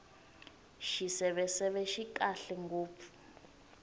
xiseveseve xi kahle ngopfu